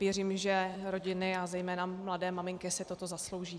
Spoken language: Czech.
Věřím, že rodiny a zejména mladé maminky si toto zaslouží.